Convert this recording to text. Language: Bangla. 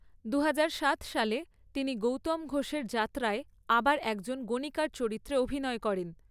দুহাজার সাত সালে, তিনি গৌতম ঘোষের যাত্রায় আবার একজন গণিকার চরিত্রে অভিনয় করেন।